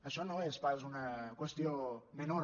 això no és pas una qüestió menor